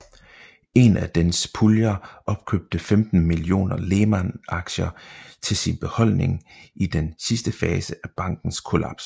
En af dens puljer opkøbte 15 millioner Lehman aktier til sin beholdning i den sidste fase af bankens kollaps